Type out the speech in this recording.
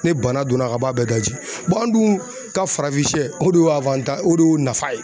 Ne bana donna ka b'a bɛɛ daji an dun ka farafin sɛ o don y'a o de y'o nafa ye